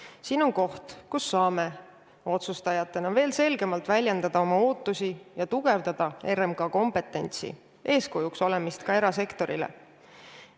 Ja see on koht, kus saame otsustajatena veel selgemalt väljendada oma ootusi ja tugevdada RMK kompetentsi, eeskuju olemist ka erasektorile.